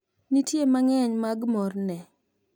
nitie mang'eny mag morne